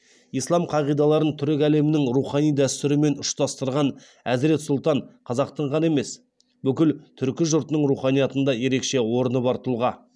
ислам қағидаларын түрік әлемінің рухани дәстүрлерімен ұштастырған әзірет сұлтан қазақтың ғана емес бүкіл түркі жұртының руханиятында ерекше орны бар тұлға